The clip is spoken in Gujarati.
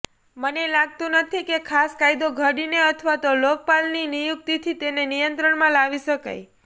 મને લાગતું નથી કે ખાસ કાયદો ઘડીને અથવા તો લોકપાલની નિયુક્તિથી તેને નિયંત્રણમાં લાવી શકાય